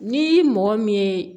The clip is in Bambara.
Ni mɔgɔ min ye